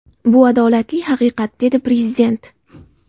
Bu adolatli haqiqat”, dedi Prezident.